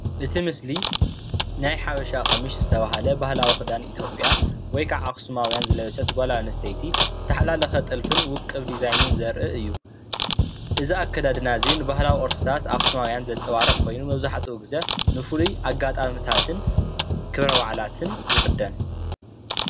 እቲ ምስሊ ናይ ሓበሻ ቀምሽ ዝተበሃለ ባህላዊ ክዳን ኢትዮጵያ ወይካዓ ኣክስማውያን ዝለበሰት ጓል ኣንስትይቲ ዝተሓላለኸ ጥልፍን ውቅብ ዲዛይነን ዘርኢ እዩ:: እዚ ኣከዳድና እዚ ንባህላዊ ቅርስታት ኣክሱማውያን ዘንፀባርቕ ኮይኑ መብዛሕተኡ ግዜ ንፉሉይ ኣጋጣሚታትን ክብረ በዓላትን ይኽደን::